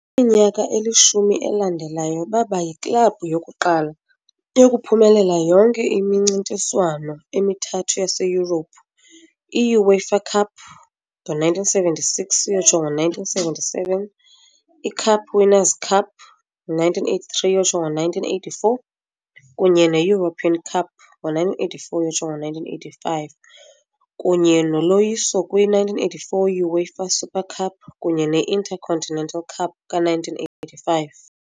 Kwiminyaka elishumi elandelayo baba yiklabhu yokuqala yokuphumelela yonke imincintiswano emithathu yaseYurophu i -UEFA Cup ngo1976 ukuyotsho 1977, i- Cup Winners 'Cup, 1983 ukuyotsho 1984, kunye ne- European Cup ngo1984-1985, kunye noloyiso kwi-1984 UEFA Super Cup kunye ne- Intercontinental Cup ka-1985